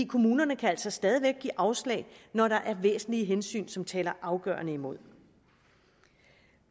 kommunerne kan altså stadig væk give afslag når der er væsentlige hensyn som taler afgørende imod